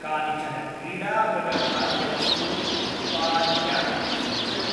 कानिचन क्रीडामृगखाद्यवस्तूनि उत्पाद्यानि सू्चय।